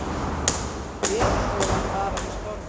Veðurstofan varar við stormi